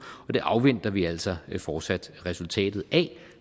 og det afventer vi altså fortsat resultatet af